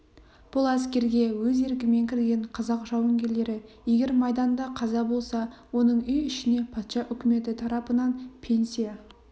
бұл әскерге өз еркімен кірген қазақ жауынгерлері егер майданда қаза болса оның үй ішіне патша үкіметі тарапынан пенсия